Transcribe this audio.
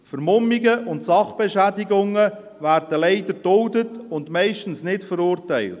Vermummungen und Sachbeschädigungen werden leider geduldet und meistens nicht verurteilt.